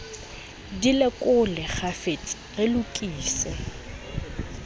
di lekole kgafetsa re lokise